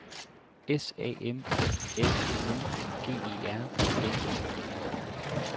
S A M L I N G E R N E